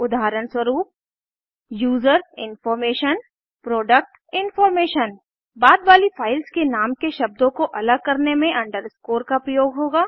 उदाहरणस्वरूप user information product information बाद वाली फाइल्स के नाम के शब्दों को अलग करने में अंडरस्कोर का प्रयोग होगा